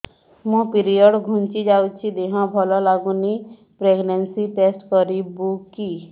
ମୋ ପିରିଅଡ଼ ଘୁଞ୍ଚି ଯାଇଛି ଦେହ ଭଲ ଲାଗୁନି ପ୍ରେଗ୍ନନ୍ସି ଟେଷ୍ଟ କରିବୁ କି